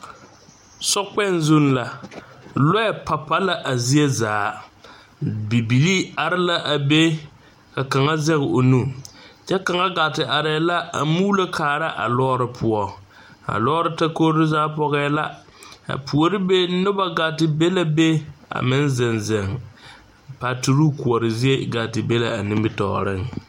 Sokpɛŋ zu la lɔɛ pa pa la a zie zaa bibilii are la a be ka kaŋa zɛge o nu kyɛ kaŋa gaa te arɛɛ la a muulo kaara a lɔɔre poɔ a lɔɔre takogre zaa pɔgɛɛ la a puori be noba gaa te be la be a meŋ zeŋ zeŋ patoroo koɔre zie gaa te be la a nimitɔɔreŋ.